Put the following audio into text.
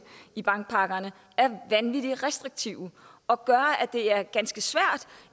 i bankpakkerne er vanvittig restriktive og gør at det er ganske svært